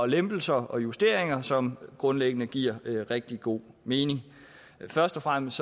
lempelser og justeringer som grundlæggende giver rigtig god mening først og fremmest